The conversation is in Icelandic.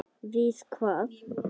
Við hvað?